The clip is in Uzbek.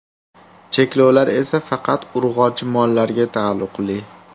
Cheklovlar esa faqat urg‘ochi mollarga taalluqli.